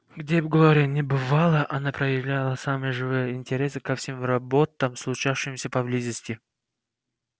где бы глория ни бывала она проявляла самый живой интерес ко всем роботам случавшимся поблизости